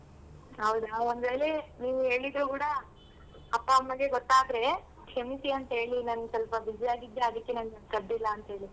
ಹೌದಾ ಒಂದ್ ವೇಳೆ ನೀನ್ ಹೇಳಿದ್ರು ಕೂಡ ಅಪ್ಪ ಅಮ್ಮಗೆ ಗೊತ್ತಾದ್ರೆ ಕ್ಷಮ್ಸಿ ಅಂತ ಹೇಳಿ ನಾನ್ ಸ್ವಲ್ಪ busy ಅಗಿದ್ದೇ ಅದಕ್ಕೆ ನಾನ್ ಕರ್ದಿಲ್ಲ ಅಂತೇಳಿ.